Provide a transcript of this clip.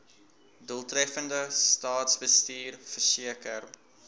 doeltreffende staatsbestuur verseker